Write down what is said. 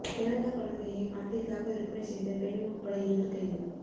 பிறந்த குழந்தையை பணத்திற்காக விற்பனை செய்த பெண் உட்பட இருவர் கைது